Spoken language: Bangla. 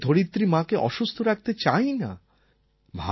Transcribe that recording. আমরা আমাদের ধরিত্রী মাকে অসুস্থ রাখতে চাই না